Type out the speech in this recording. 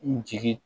N jigin